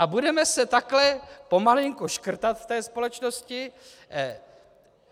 A budeme se takhle pomalinku škrtat v té společnosti.